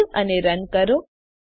સેવ અને રન કરો